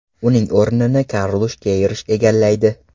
Uning o‘rnini Karlush Keyrush egallaydi.